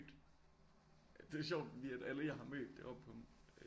Det er sjovt fordi at alle jeg har mødt deroppe på